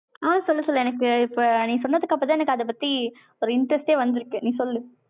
அ, சொல்ல சொல்லு, எனக்கு இப்போ, நீ சொன்னதுக்கு அப்புறம்தான், எனக்கு அதை பத்தி, ஒரு interest ஏ வந்திருக்கு. நீ சொல்லு